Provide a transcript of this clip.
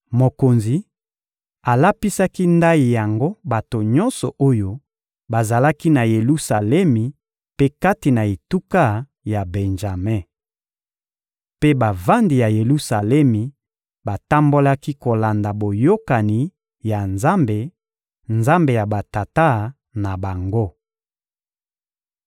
Mokonzi alapisaki ndayi yango bato nyonso oyo bazalaki na Yelusalemi mpe kati na etuka ya Benjame. Mpe bavandi ya Yelusalemi batambolaki kolanda boyokani ya Nzambe, Nzambe ya batata na bango.